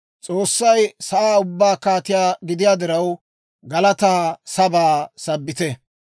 S'oossay sa'aa ubbaa kaatiyaa gidiyaa diraw, galataa sabaa sabbite.